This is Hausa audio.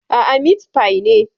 Aa, mitfai ne